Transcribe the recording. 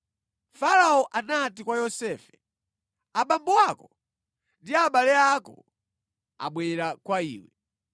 Farao anati kwa Yosefe, “Abambo ako ndi abale ako abwera kwa iwe.